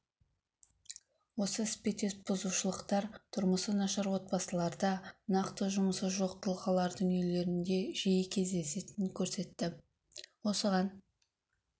осы іспеттес бұзушылықтар тұрмысы нашар отбасыларда нақты жұмысы жоқ тұлғалардың үйлерінде жиі кездесетінін көрсетті осыған